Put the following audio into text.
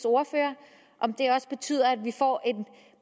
ordfører om det også betyder at vi får en